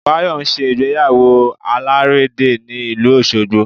Báyọ̀ ń ṣe ìyàwó alàrédè ní ìlú Òṣogbo